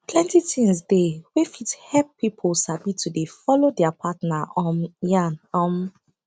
plenty thins dey wey fit help pipu sabi to dey follow dea partner um yan um